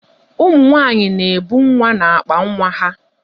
Ụmụ nwaanyị na-ebu nwa n'akpa nwa ha.